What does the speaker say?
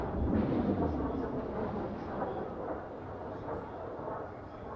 Yəni bütün bu prosesin hamısı bu ölkədə müşahidə olunur.